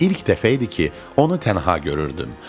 İlk dəfə idi ki, onu tənha görürdüm.